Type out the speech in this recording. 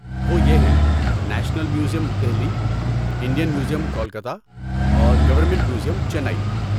وہ یہ ہیں national museum Delhi, Indian museum Kolkata اور گورنمنٹ میوزیم چنئی